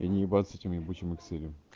а не ебаться с этим ебучим экселем